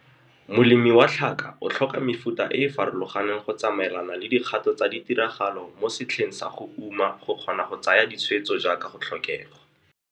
Molemi wa tlhaka o tlhoka mefuta e e farologaneng go tsamaelana le dikgato tsa ditiragalo mo setlheng sa go uma go kgona go tsaya ditshwetso jaaka go tlhokegwa.